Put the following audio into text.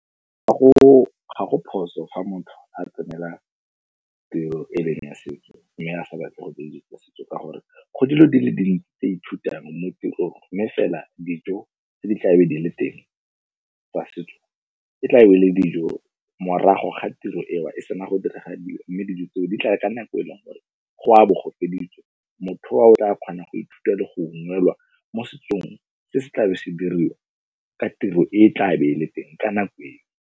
ga go phoso ga motho a tsenela tiro e leng ya setso mme a sa batle go setso ka gore go dilo di le dintsi tse ithutang mo tirong, mme fela dijo tse di tla be di le teng tsa setso, e tla be ele dijo morago ga tiro ewa e sena go direga mme dijo tseo di tla ka nako e leng gore go a bo go feditswe. Motho owa o tla kgona go ithutha go ungwelwa mo setsong se se tlabe se diriwa ka tiro e tla be e le teng ka nako eo.